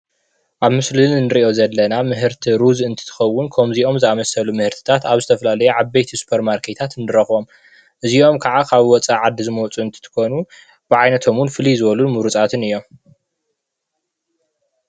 ኣብ ምስሊ እንሪኦ ዘለና ምህርቲ ሩዝ እንትኮውን ከምዚኦም ዝኣመሰሉ ምህርትታት ኣብ ዝተፈላለዩ ዓበይቲ ሱፐር ማርኬታት ንረክቦም። እዚኦም ክዓ ካብ ወፃዒ ዓዲ ዝመፁ እንትኮኑ ብዓይነቶም ድማኒ ፍሉይ ዝበሉን ሙርፃትን እዮም።